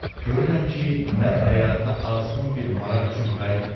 Görürəm ki, mən həyata azğın bir maraq üçün qayıtmıram.